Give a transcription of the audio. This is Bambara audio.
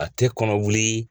A tɛ kɔnɔ wuli